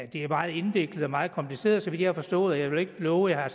det er meget indviklet og meget kompliceret så vidt jeg har forstået og jeg vil ikke love at